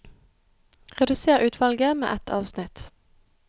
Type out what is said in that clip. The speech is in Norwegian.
Redusér utvalget med ett avsnitt